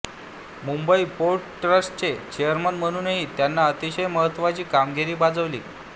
Mumbai port ट्रस्टचे chairman म्हणूनही त्यांनी अतिशय महत्त्वाची कामगिरी बजावली